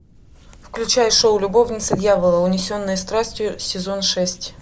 включай шоу любовница дьявола унесенные страстью сезон шесть